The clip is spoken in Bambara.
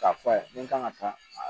K'a fɔ a ye ni n kan ka taa